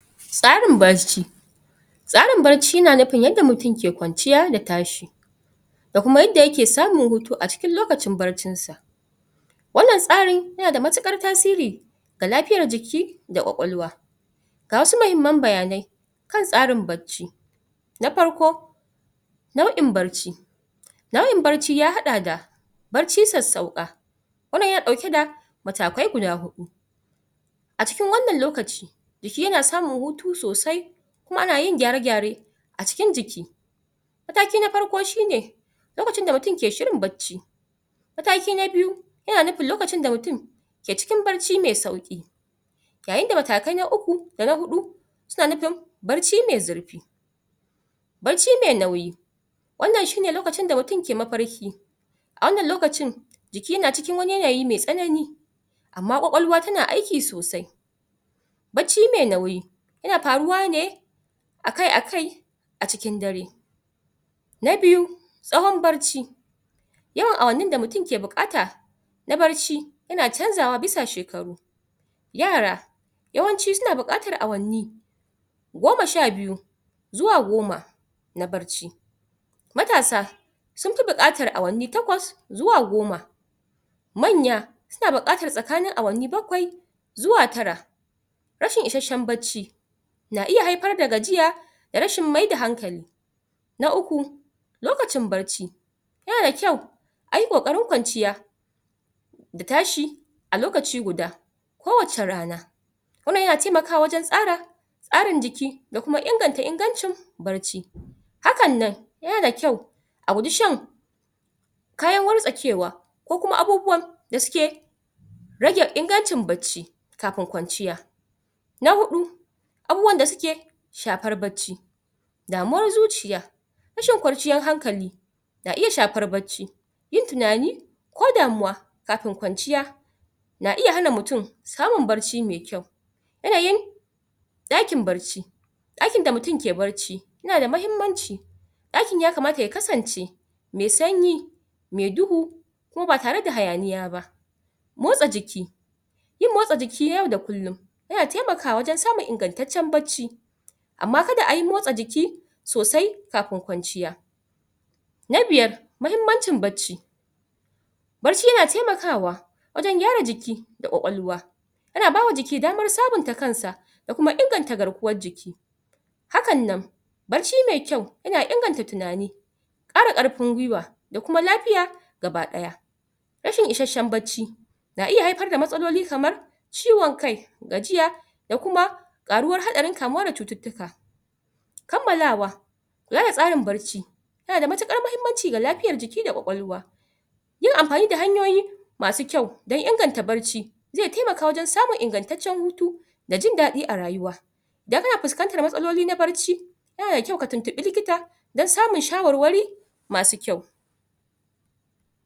tsarin barci tsarin barci yana nufin yanda mutun ke kwanciya da tashi da kuma yanda yake samun hutu a cikin lokacin barcinsa wannan tsari yana da matuƙar tasiri ga lafiyar jiki da kwakwalwa ga wasu mahimman bayanai kan tsarin bacci na parko nau'in barci nau'in barci ya haɗa da barci sassauƙa wannan yana ɗauke da matakai guda huɗu a cikin wannan lokaci jiki yana samun hutu sosai ana yin gyare gyare a cikin jiki mataki na parko shine lokacin da mutun ke shirin bacci mataki na biyu yana nupin lokacin da mutun ke cikin barci me sauƙi yayin da matakai na uku da na huɗu suna nupin barci me zurpi barci me nauyi wannan shine lokacin da mutun ke maparki a wannan lokacin jiki na cikin wani yanayi me tsanani amma kwakwalwa tana aiki sosai bacci me nauyi yana paruwa ne akai akai a cikin dare na biyu tsahon barci yawan awannin da mutun ke buƙata na barci yana canzawa bisa shekaru yara yawanci suna buƙatar awanni goma sha biyu zuwa goma na barci matasa sun pi buƙatar awanni takwas zuwa goma manya suna buƙatar tsakanin awanni bakwai zuwa tara rashin ishasshen bacci na iya haipar da gajiya da rashin mai da hankali na uku lokacin barci yana da kyau ayi ƙoƙarin kwanciya da tashi a lokaci guda kowace rana wannan yana taimakawa wajen tsara ƙarin jiki da kuma inganta ingancin barci hakan nan yana da kyau a guji shan kayan wartsakewa ko kuma abubuwan da suke rage ingancin bacci kapin kwanciya na huɗu abubuwan da suke shapar bacci damuwar zuciya rashin kwarciyan hankali na iya shapar bacci yin tinani ko damuwa kapin kwanciya na iya hana mutun samun barci me kyau yanayin ɗakin barci ɗakin da mutun ke barci yana da mahimmanci ɗakin yakamata ya kasance me sanyi me duhu kuma ba tare da hayaniya ba motsa jiki yin motsa jiki na yau da kullun yana taimakawa wajen samun ingantaccen bacci amma kada ayi motsa jiki sosai kapin kwanciya na biyar mahimmancin bacci barci yana taimakawa wajen gyara jiki da kwakwalwa yana bawa jiki damar sabunta kansa da kuma inganta garkuwar jiki hakan nan barci mai kyau yana inganta tinani ƙara ƙarpin gwiwa da kuma lapiya gaba ɗaya rashin ishasshen bacci na iya haipar da matsaloli kamar ciwan kai gajiya da kuma ƙaruwar haɗarin kamuwa da cututtuka kammalawa raya tsarin barci yana da matuƙar mahimmanci ga lapiyar jiki da kwakwalwa yin ampani da hanyoyi masu kyau don inganta barci ze taimaka wajen samun ingantaccen hutu da jin daɗi a rayuwa idan kana puskantar matsaloli na barci yana da kyau ka tuntuɓi likita don samun shawarwari masu kyau